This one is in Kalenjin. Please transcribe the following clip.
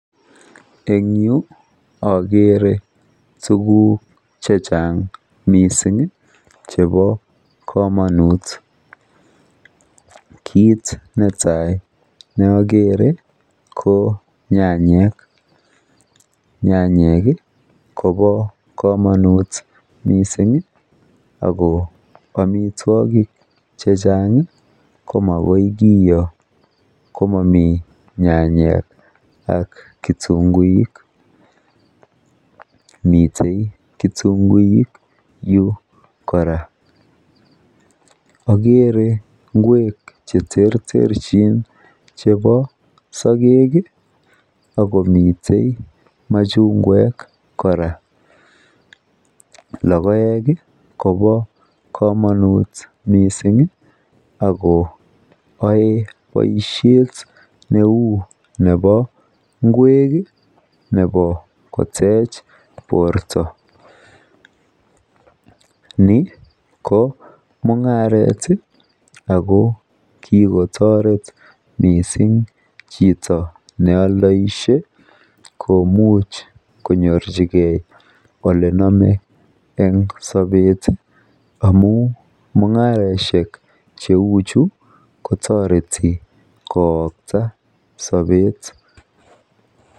En yuu okere tukuk chechang missing chebo komonut, kit netai neokere ko nyanyik, nyanyik Kobo komonut missing ako omitwokik chechang komokoi kiyoo komomii nyanyik ak kitunguik. Miten kitunguik yuu koraa, okere ingwek cheterterchin chebo sokek kii ak komiten machungwek koraa. Lokoek Kobo komonut missing ako yoe boishet neu nebo ingwek kii nebo kotech borto, ni ko mungaret tii ako kikotoret missing chito neoldoishe komuch konyorchigee olenome en sobet amun mungaroshek cheu chu kotoreti kowokta sobet.